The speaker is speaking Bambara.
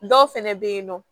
Dɔw fɛnɛ be yen nɔ